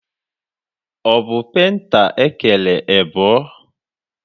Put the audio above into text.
Ọ bụ penta ekere ebọ?